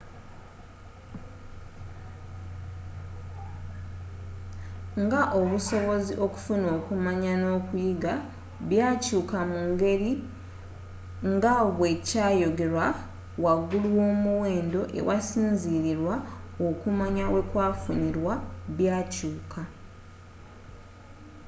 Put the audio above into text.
nga obusobozi okufuna okumanya n'okuyiga byakyuuka mungeri nga bwe kyayogerwa waggulu womuwendo ewasinzilirirwa okumanya wekwafunirwa byakyuka